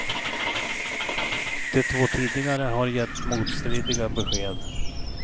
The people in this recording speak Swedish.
De två tidigare har gett motstridiga besked.